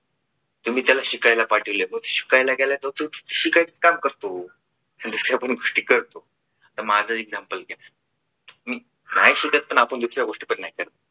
तुम्ही त्याला शिकायला पाठवले शिकायला गेला तर तो शिकायचं काम करतो. दुसऱ्या पण गोष्टी करतो. तर माझ example घ्या नाही सुटत पण आपण दुसऱ्या गोष्टी पण नाही करत.